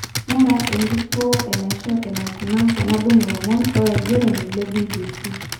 Ngura enkituo enaisho eneikuna tenadung lomon lolaigeroni le BBC.